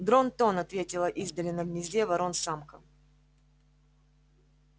дрон-тон ответила издали на гнезде ворон самка